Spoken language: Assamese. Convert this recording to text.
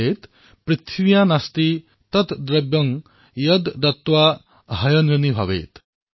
पृथिव्यां नास्ति तद्द्रव्यं यद्दत्त्वा ह्यनृणी भवेत्